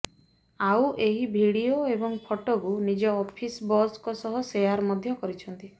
ଆଉ ଏହି ଭିଡିଓ ଏବଂ ଫଟୋକୁ ନିଜ ଅଫିସ୍ ବସଙ୍କ ସହ ସେୟାର୍ ମଧ୍ୟ କରିଛନ୍ତି